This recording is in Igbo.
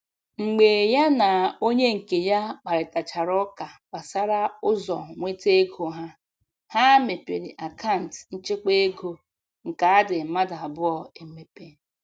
Mgbe ya na onye nke ya kparịtachara ụka gbasara ụzọ nweta ego ha, ha mepere akant nchekwa ego nke adị mmadụ abụọ emepe.